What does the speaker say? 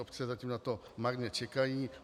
Obce zatím na to marně čekají.